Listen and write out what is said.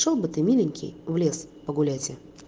шёл бы ты миленький в лес погулять и